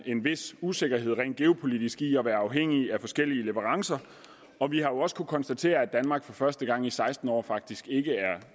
en vis usikkerhed rent geopolitisk i at være afhængig af forskellige leverancer og vi har også konstatere at danmark for første gang i seksten år faktisk ikke er